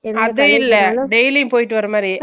அதுஇல்ல daily போய்ட்டு வர மாதிரி